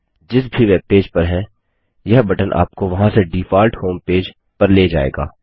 आप जिस भी वेबपेज पर हैं यह बटन आपको वहाँ से डिफाल्ट होमपेज पेज पर ले जाएगा